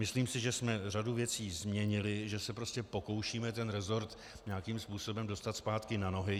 Myslím si, že jsme řadu věcí změnili, že se prostě pokoušíme ten rezort nějakým způsobem dostat zpátky na nohy.